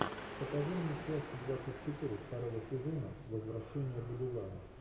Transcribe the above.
покажи мне часть двадцать четыре второго сезона возвращение будулая